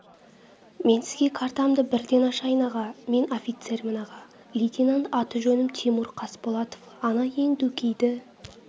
мен сізге картамды бірден ашайын аға мен офицермін аға лейтенант аты-жөнім тимур қасболатов ана ең дөкейді